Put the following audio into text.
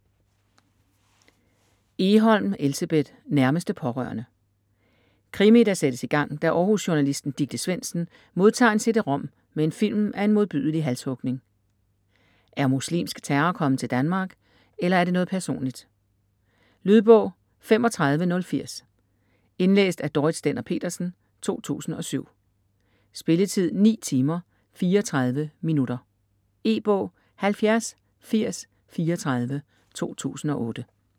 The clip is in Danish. Egholm, Elsebeth: Nærmeste pårørende Krimi, der sættes i gang da Århus-journalisten Dicte Svendsen modtager en cd-rom med en film af en modbydelig halshugning. Er muslimsk terror kommet til Danmark, eller er det noget personligt? Lydbog 35080 Indlæst af Dorrit Stender-Petersen, 2007. Spilletid: 9 timer, 34 minutter. E-bog 708034 2008.